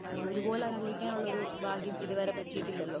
ഒരുപോലെ അനുഭവിക്കാനുള്ള ഒരു ഭാഗ്യം ഇതുവരെ പറ്റിയിട്ടില്ലല്ലോ.